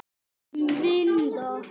Um vinda.